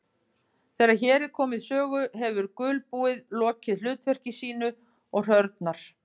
Þegar hér er komið sögu hefur gulbúið lokið hlutverki sínu og hrörnar.